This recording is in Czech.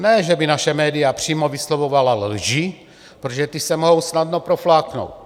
Ne, že by naše média přímo vyslovovala lži, protože ty se mohou snadno profláknout.